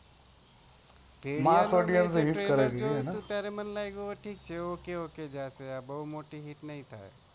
mass audience એ hit કરાવી દીધી એને મન લાગુ ok ok જશે બો મોટી hit ના જાય